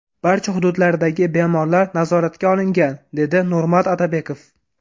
Barcha hududlardagi bemorlar nazoratga olingan”, dedi Nurmat Otabekov.